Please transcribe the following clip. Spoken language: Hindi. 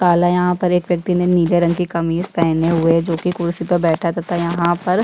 काला है यहाँ पर एक व्यक्ति ने नीले रंग की कमीज पहनी हुई है जो की कुर्सी पर बैठा हुआ है तथा यहाँ पर --